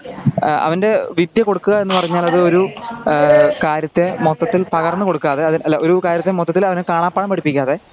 അവന്റെ വിദ്ത്യ കൊടുക്കുക എന്നു പറഞ്ഞാൽ ഒരു ആ കാര്യത്തെ മൊത്തത്തിൽ പകർന്നുകൊടുക്കാതെ ആ കാര്യത്തെ മൊത്തത്തിൽ അവനെ കാണാപ്പാഠം പഠിപ്പിക്കാതെ